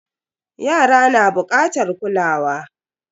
Yara na bukatar kulawa.